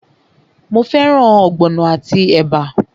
Mo fẹ́ràn ogbono àti ẹ̀bà?